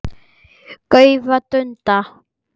gaufa, dunda.